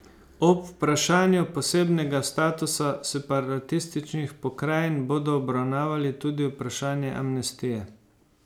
Ob vprašanju posebnega statusa separatističnih pokrajin bodo obravnavali tudi vprašanje amnestije.